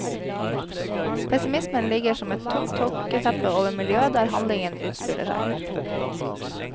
Pessimismen ligger som et tungt tåketeppe over miljøet der handlingen utspiller seg.